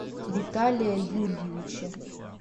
виталия юрьевича